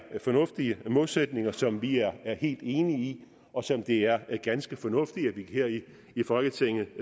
fornuftige målsætninger som vi er helt enige i og som det er ganske fornuftigt at vi her i folketinget